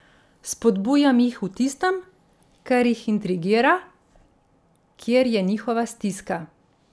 Spodbujam jih v tistem, kar jih intrigira, kjer je njihova stiska.